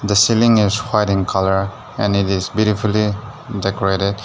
the ceiling is white in colour and it is beautifully decorated.